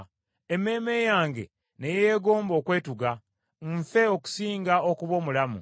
Emmeeme yange ne yeegomba okwetuga, nfe okusinga okuba omulamu.